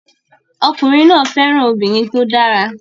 Ọkùnrin náà fẹ́ràn obìnrin tó dára